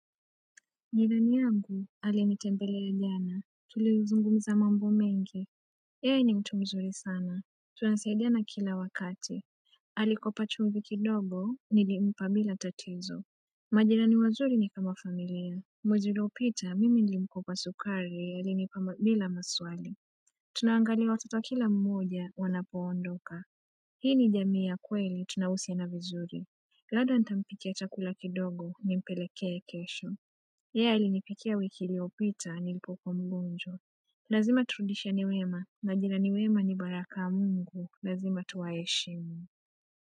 Jirani yagu alinitembelea jana Tulizungumza mambo mengi yeye ni mtu mzuri sana Tunasaidiana kila wakati Alikopa chungu kidogo nilimpa bila tatizo majirani wazuri ni kama familia Mwezi uliopita mimi nili mkopa sukari alinipa bila maswali Tunaangalia watoto wa kila mmoja wanapoondoka Hii ni jamii ya kweli tunahusiana vizuri dada nitampikia chakula kidogo nimpelekee kesho yeye alinipikia wiki iliyopita, nilipo kuwa mgonjwa. Lazima turudishiane wema, majirani wema ni baraka mungu. Lazima tuwaheshimu.